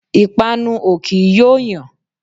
Ìpànu o kì í yo yàn.